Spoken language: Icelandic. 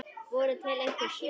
Voru til einhver svör?